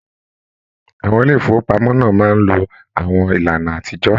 Àwọn ilé ifowopamọ náà máa n ló àwọn ìlànà àtijọ.